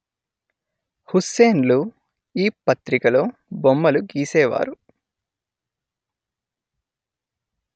హుస్సేన్ లు ఈ పత్రికలో బొమ్మలు గీసేవారు